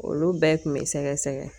Olu bɛɛ tun bɛ sɛgɛsɛgɛ.